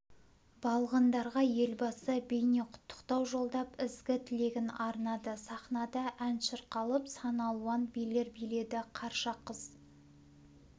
балғындарға елбасы бейнеқұттықтау жолдап ізгі тілегін арнады сахнада ән шырқалып сан алуан билер биледі қарша қыз